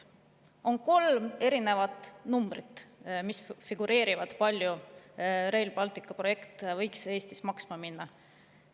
Figureerib kolm erinevat numbrit, kui palju Rail Balticu projekt võiks Eestis maksma minna.